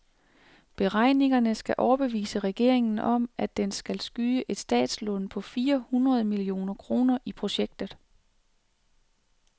Beregningerne skal overbevise regeringen om, at den skal skyde et statslån på fire hundrede millioner kroner i projektet.